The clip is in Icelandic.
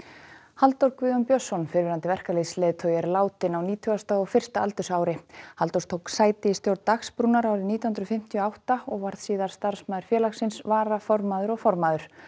Halldór Guðjón Björnsson fyrrverandi verkalýðsleiðtogi er látinn á nítugasta og fyrsta aldursári Halldór tók sæti í stjórn Dagsbrúnar árið nítján hundruð fimmtíu og átta og varð síðar starfsmaður félagsins varaformaður og formaður